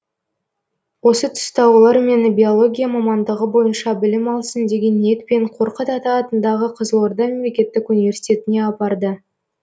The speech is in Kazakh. осы тұста олар мені биология мамандығы бойынша білім алсын деген ниетпен қорқыт ата атындағы қызылорда мемлекеттік университетіне апарды